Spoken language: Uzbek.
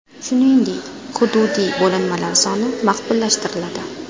Shuningdek, hududiy bo‘linmalar soni maqbullashtiriladi.